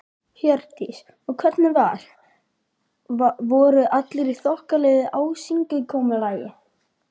Hjördís: Og hvernig var, voru allir í þokkalegu ásigkomulagi?